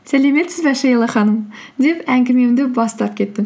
сәлеметсіз бе шейла ханым деп әңгімемді бастап кеттім